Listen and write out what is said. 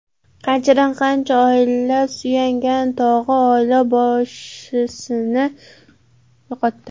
Qanchadan-qancha oila suyangan tog‘i, oila boshisini yo‘qotdi.